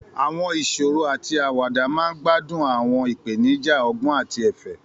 Àwọn ìṣòro àti àwàdà máa ń gbádùn àwọn ìpèníjà ọgbọ́n àti ẹ̀fẹ̀.